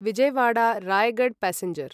Vijayawada Raigad passenger